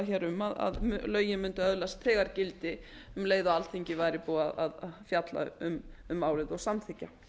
talað um að lögin mundu öðlast þegar gildi um leið og alþingi væri búið að fjalla um málið og samþykkja